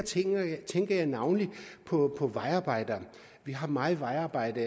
tænker jeg navnlig på vejarbejdere vi har meget vejarbejde